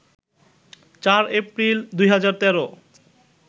০৪ April ২০১৩